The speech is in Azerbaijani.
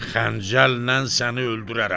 Xəncəllə səni öldürərəm.